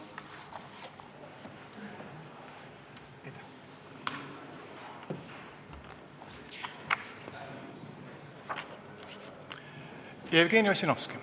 Jevgeni Ossinovski.